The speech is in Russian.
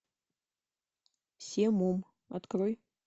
семум открой